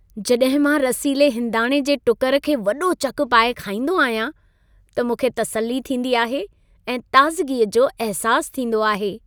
जॾहिं मां रसीले हिंदाणे जे टुकर खे वॾो चक पाए खाईंदो आहियां त मूंखे तसल्ली थींदी आहे ऐं ताज़गी जो अहिसासु थींदो आहे।